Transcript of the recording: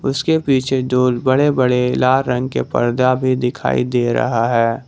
उसके पीछे जो बड़े बड़े लाल रंग के पर्दा भी दिखाई दे रहा है।